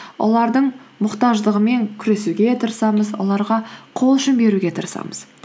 олардың мұқтаждығымен күресуге тырысамыз оларға қол ұшын беруге тырысамыз